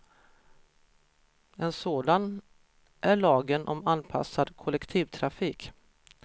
En sådan är lagen om anpassad kollektivtrafik.